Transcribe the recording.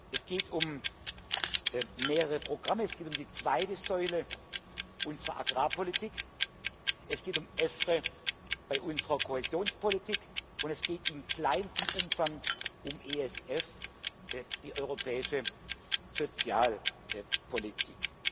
Es geht um mehrere Programme, es geht um die zweite Säule unserer Agrarpolitik, es geht um EFRE bei unserer Koalitionspolitik, und es geht in kleinstem Umfang um ESF, die europäische Sozialpolitik.